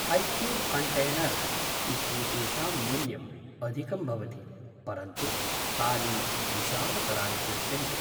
Hi-cube container इत्येतेषां मूल्यं अधिकं भवति, परन्तु तानि विशालतराणि दृश्यन्ते ।